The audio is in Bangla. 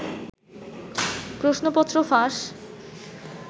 প্রশ্নপত্র ফাঁস